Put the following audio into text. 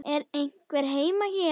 Er einhver heima hér?